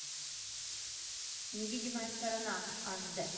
невидимая сторона аш дэ